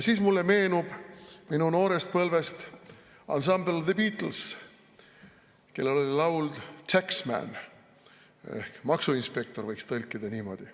Mulle meenub minu noorest põlvest ansambel The Beatles, kellel on laul "Taxman" ehk maksuinspektor, võiks tõlkida niimoodi.